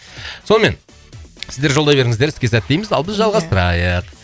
сонымен сіздер жолдай беріңіздер іске сәт тілейміз ал біз жалғастырайық